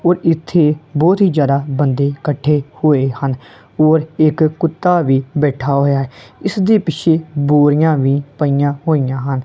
ਔਰ ਇੱਥੇ ਬੋਹੁਤ ਹੀ ਜਿਆਦਾ ਬੰਦੇ ਕੱਠੇ ਹੋਏ ਹਨ ਔਰ ਇੱਕ ਕੁੱਤਾ ਵੀ ਬੈਠਾ ਹੋਇਆ ਹੈ ਇੱਸ ਦੇ ਪਿੱਛੇ ਬੋਰੀਆਂ ਵੀ ਪਈਆਂ ਹੋਇਆਂ ਹਨ।